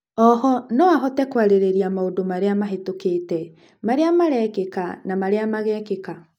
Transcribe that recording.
oho no ahote kwarĩrĩria maũndũ maria mahetũkĩte, maria marekĩka na maria magekĩka.